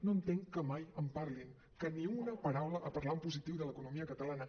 no entenc que mai en parlin que ni una paraula a parlar en positiu de l’economia catalana